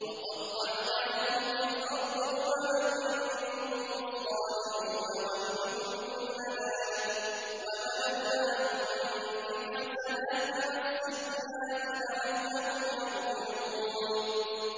وَقَطَّعْنَاهُمْ فِي الْأَرْضِ أُمَمًا ۖ مِّنْهُمُ الصَّالِحُونَ وَمِنْهُمْ دُونَ ذَٰلِكَ ۖ وَبَلَوْنَاهُم بِالْحَسَنَاتِ وَالسَّيِّئَاتِ لَعَلَّهُمْ يَرْجِعُونَ